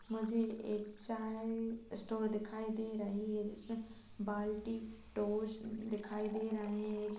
मुझे एक चाय स्टोर दिखाई दे रही हैं जिसमें बाल्टी टोस्ट दिखाई दे रहे हैं।